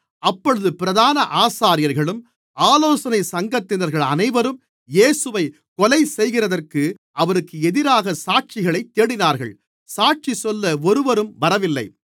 அப்பொழுது பிரதான ஆசாரியர்களும் ஆலோசனை சங்கத்தினர்கள் அனைவரும் இயேசுவைக் கொலைசெய்கிறதற்கு அவருக்கு எதிராகச் சாட்சிகளைத் தேடினார்கள் சாட்சிசொல்ல ஒருவரும் வரவில்லை